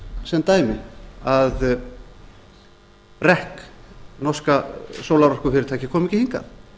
sem dæmi að ekki norska sólarorkufyrirtækið kom ekki hingað